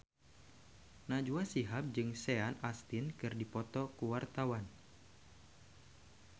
Najwa Shihab jeung Sean Astin keur dipoto ku wartawan